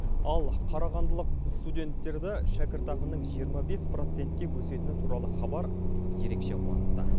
ал қарағандылық студенттерді шәкіртақының жиырма бес процентке өсетіні туралы хабар ерекше қуантты